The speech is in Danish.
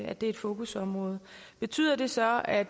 at det er et fokusområde betyder det så at